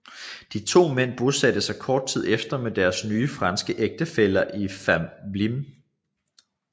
De to mænd bosatte sig kort tid efter med deres nye franske ægtefæller i Fámjin